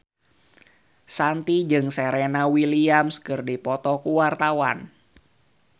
Shanti jeung Serena Williams keur dipoto ku wartawan